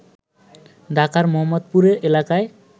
ঢাকার মোহাম্মদপুরে এলাকায়